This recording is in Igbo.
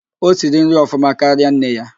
O siri nri ọfụma karịa nne ya